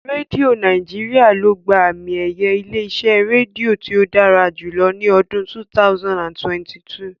Rédíó Nàíjirià ló gba àmi-ẹ̀yẹ ilé-iṣẹ́ rédíò tí ó dára jùlọ ní ọdún 2022.